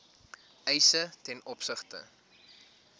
eise ten opsigte